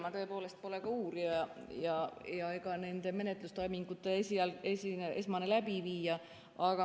Ma tõepoolest pole ka ei uurija ega nende menetlustoimingute esmane läbiviija.